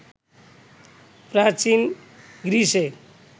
প্রাচীন গ্রীসে